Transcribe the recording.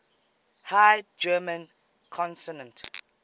high german consonant